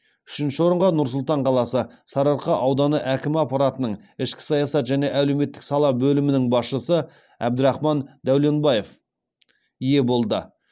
үшінші орынға нұр сұлтан қаласы сарыарқа ауданы әкімі аппаратының ішкі саясат және әлеуметтік сала бөлімінің басшысы әбдірахман дәуленбаев ие болды